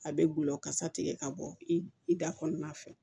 A bɛ gulɔ kasa tigɛ ka bɔ i da kɔnɔna fɛ